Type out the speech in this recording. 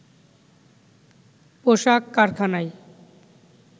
পোশাক কারখানায়